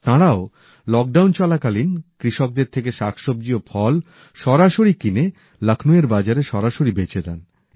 তাঁরাও লকডাউন চলাকালীন কৃষকদের থেকে শাকসব্জি ও ফল সরাসরি কিনে লখ্নৌএর বাজারে সরাসরি বেচে দেন